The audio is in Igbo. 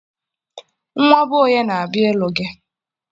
Nwa be onye na-abịa ịlụ gị